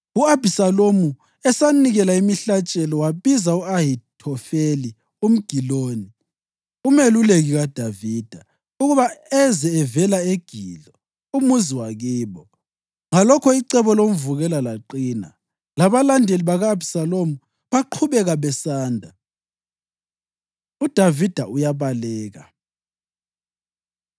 U-Abhisalomu esanikela imihlatshelo, wabiza u-Ahithofeli umGiloni, umeluleki kaDavida, ukuba eze evela eGilo, umuzi wakibo. Ngalokho icebo lomvukela laqina, labalandeli baka-Abhisalomu baqhubeka besanda. UDavida Uyabaleka